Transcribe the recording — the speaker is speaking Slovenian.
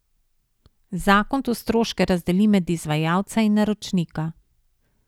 Zakon tu stroške razdeli med izvajalca in naročnika.